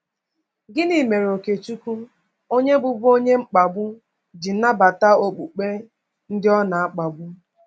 Gịnị mere Okechukwu onye bụbu onye mkpagbu ji nabata okpukpe ndị ọ na-akpagbu?